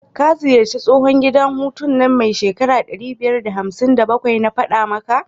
ka ziyarci tsohun gida hutu nan mai shekara ɗari biyar da hamsin da bakwai, na fada maka?